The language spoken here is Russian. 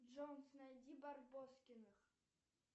джой найди барбоскиных